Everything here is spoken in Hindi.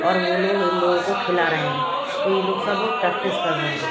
और वो लोग इन लोगों को खिला रहे हैं तो यह लोग सब प्रैक्टिस कर रहे हैं अभी।